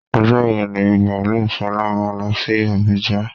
Ọjọ́ wo ní baalú Ṣọlá máa lọ sí àbújá?